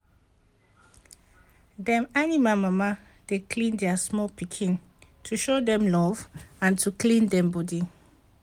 dem animal mama dey lick their small pikin to show dem love and to clean dem bodi